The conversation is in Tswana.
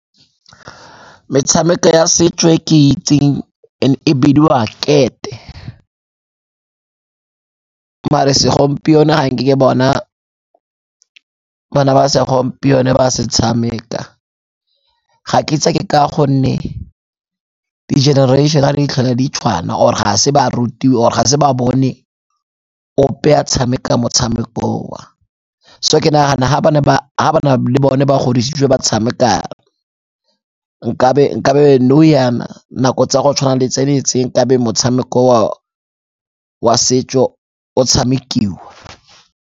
Metshameko ya setso e ke itseng e bidiwa kete, mare segompieno ga nke ke bona bana ba segompieno ba se tshameka. Ga ke itse ke ka gonne di-generation di tlhole di tshwana or-e ga se ba rutiwe or-e ga se ba bone ope a tshameka motshameko oo. So ke nagana ha ba ne le bone ba godisitswe ba tshameka nkabe nou yana nako tsa go tshwana le tseneletseng nkabe motshameko wa setso o tshamekiwa.